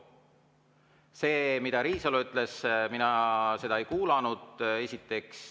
Seda, mida Riisalo ütles, mina ei kuulnud, esiteks.